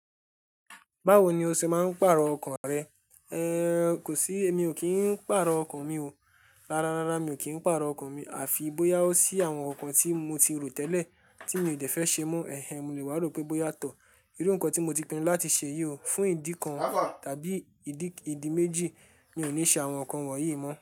Báwo ni o ṣe máa ń pàrọ̀ ọkàn rẹ? Ehn, kò sí, emi ò kí ń pàrọ̀ ọkàn mi o. Rárá, rárá mi ò kí ń pàrọ̀ ọkàn mi, àfi bóyá ó sí àwọn nǹkan tí mo ti rò tẹ́lẹ̀ tí mi ò dẹ́fẹ́ ṣe mọ́. Ehn, mo lè wá rò pé bóyá tọ́, irú nǹkan tí mo ti pinnu láti ṣe yìí o, fún ìdí kan tàbí ìdí méjì mi ò ní ṣe àwọn nǹkan wọ̀nyí mọ́